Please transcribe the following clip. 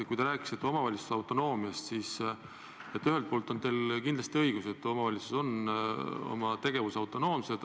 Kui te rääkisite omavalitsuste autonoomiast, siis ühelt poolt on teil kindlasti õigus, et omavalitsused on oma tegevuses autonoomsed.